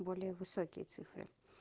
более высокие цифры